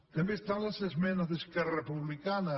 també estan les esmenes d’esquerra republicana